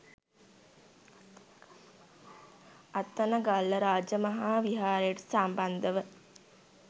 අත්තනගල්ල රජමහා විහාරයට සම්බන්ධ ව